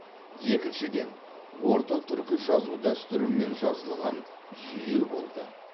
екіншіден орта түркі жазу дәстүрімен жазылған жүйе болды